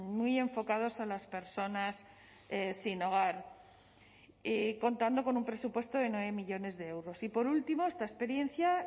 muy enfocados a las personas sin hogar contando con un presupuesto de nueve millónes de euros y por último esta experiencia